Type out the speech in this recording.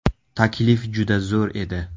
Taklif juda zo‘r edi.